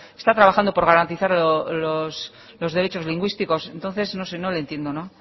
está trabajando por garantizar los derechos lingüísticos entonces no sé no le entiendo